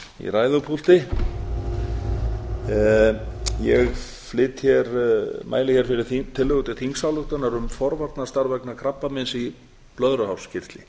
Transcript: hér með rangt blað í ræðupúlti ég mæli hér fyrir tillögu til þingsályktunar um forvarnastarf vegna krabbameins í blöðruhálskirtli